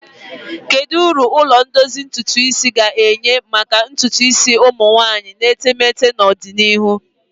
Kedu uru ụlọ ndozi ntutu isi ga-enye maka ntutu isi ụmụ nwanyị na etemeete n'ọdịnihu?